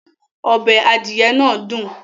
Ọbẹ̀ adìẹ náà dùn